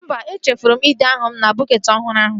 Mba, e chefuru m ide aha m na bọketị ọhụrụ ahụ